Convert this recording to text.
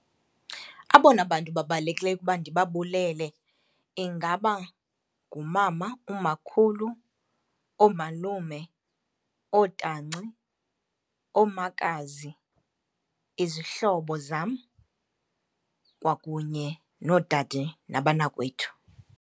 Abona bantu babalulekileyo ukuba ndibabulele ingaba ngumama, umakhulu, oomalume, ootanci, oomakazi, izihlobo zam kwakunye noodade nabanakwethu.